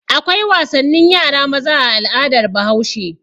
Akwai wasannin yara maza a al'adar Bahaushe.